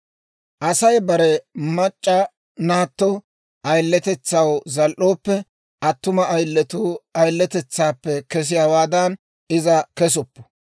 «Asay bare mac'c'a naatto ayiletetsaw zal"ooppe, attuma ayiletuu ayiletetsaappe kesiyaawaadan iza kesuppu.